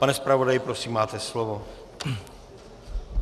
Pane zpravodaji, prosím, máte slovo.